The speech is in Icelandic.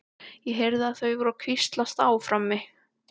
Ég heyrði að þau voru að hvíslast á frammi.